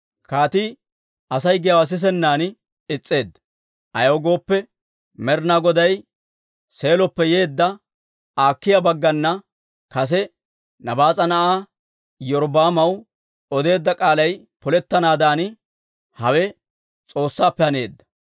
Kaatii Asay giyaawaa sisennan is's'eedda; ayaw gooppe, Med'inaa Goday Seeloppe yeedda Akiiya baggana kase Nabaas'a na'aa Iyorbbaamaw odeedda k'aalay polettanaadan hawe S'oossaappe haneedda.